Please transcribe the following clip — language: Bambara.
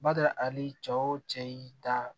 Bada ali cɛ wo cɛ y'i da